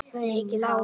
Mikið hár.